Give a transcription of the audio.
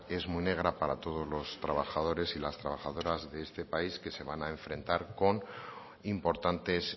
es muy negra para todos los trabajadores y las trabajadoras de este país que se van a enfrentar con importantes